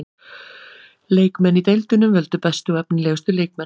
Leikmenn í deildunum völdu bestu og efnilegustu leikmenn.